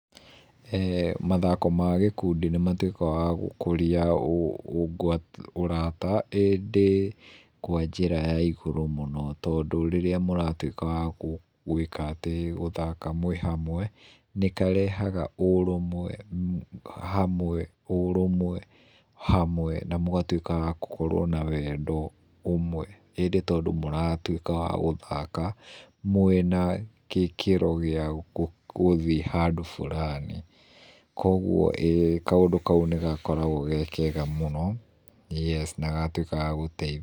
Mathako ma gĩkundi nĩmatũĩkaga wa gũkũria ũũh ngwata ũrata, ĩndĩ kwa njĩra ya igũrũ mũno tondũ rĩrĩa mũratũĩka wa gu gũĩkatĩ gũthaka mwĩ hamwe nĩkarehaga urũmwe, hamwe urũmwe hamwe na mũgatũĩka agũkorũo na wendo umwe, ĩndĩ tondũ mũratũĩka wagũthaka mũĩna gĩkĩro gĩa gũthiĩ handũ fulani ,kogũo ĩĩ kaũndũ kaũ nĩ gakoragwo gekega mũno yes na gagatũĩka ga gũteithia.